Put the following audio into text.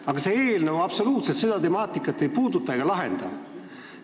Aga see eelnõu ju absoluutselt ei puuduta ega lahenda seda temaatikat.